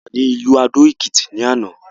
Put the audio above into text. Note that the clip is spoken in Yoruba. A wà ní ìlú adó-èkìtì ní àná.